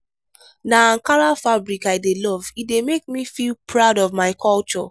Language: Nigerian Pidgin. na ankara fabric i dey love e dey make me feel proud of my culture.